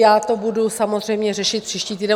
já to budu samozřejmě řešit příští týden.